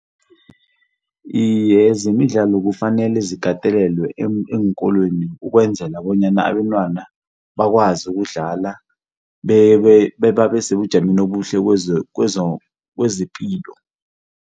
Iye zemidlalo kufanele zikatelelwe eenkolweni ukwenzela bonyana abentwana abakwazi ukudlala bebabe sebujameni obuhle kezepilo.